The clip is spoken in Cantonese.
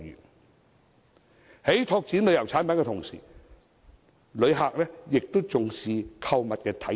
在我們拓展旅遊產品的同時，旅客也重視購物體驗。